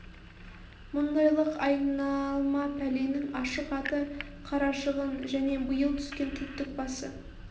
мұндайлық айналма пәленің ашық аты қарашығын және биыл түскен түндік басы